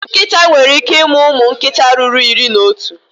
Nkịta nwere ike ịmụ ụmụ nkịta ruru iri na otu.